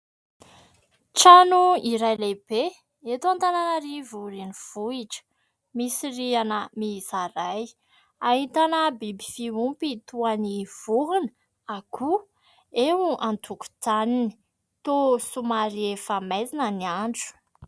Trano iray lehibe eto Antananarivo renivohitra, misy rihana mihisa iray, ahitana biby fiompy toa ny vorona, akoho eo an-tokotaniny, toa somary efa maizina ny andro.